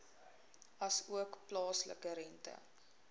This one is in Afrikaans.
asook plaaslike rente